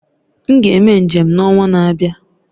M ga-eme njem n'ọnwa na-abịa